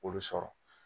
Olu sɔrɔ